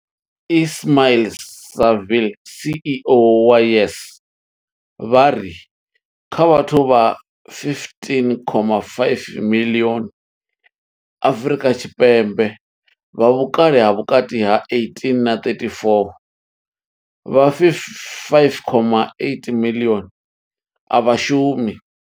Ismail-Saville CEO wa YES, vha ri kha vhathu vha 15.5 miḽioni Afrika Tshipembe vha vhukale ha vhukati ha 18 na 34, vha 5.8 miḽioni a vha shumi.